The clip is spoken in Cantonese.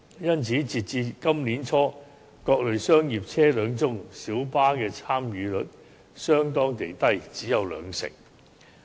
因此，截至今年年初，在各類商業車輛中，小巴的參與率相對地低，只有兩成。